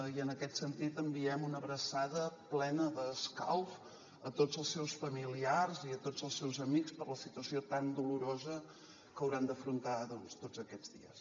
i en aquest sentit enviem una abraçada plena d’escalf a tots els seus familiars i a tots els seus amics per la situació tan dolorosa que hauran d’afrontar doncs tots aquests dies